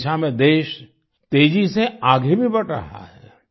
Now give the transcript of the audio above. इस दिशा में देश तेजी से आगे भी बढ़ रहा है